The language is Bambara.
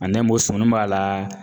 sumuni b'a laa